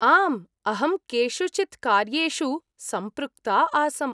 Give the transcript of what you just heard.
आम्, अहं केषुचित् कार्येषु सम्पृक्ता आसम्।